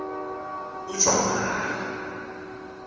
ujwara